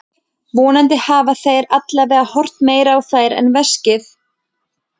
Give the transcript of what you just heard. Vonandi hafa þeir allavega horft meira á þær en veskið.